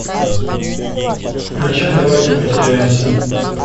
включай давайте потеряемся